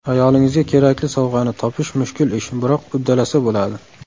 Ayolingizga kerakli sovg‘ani topish mushkul ish, biroq uddalasa bo‘ladi.